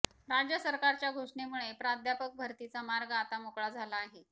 राज्य सरकारच्या घोषणेमुळे प्राध्यापक भरतीचा मार्ग आता मोकळा झाला आहे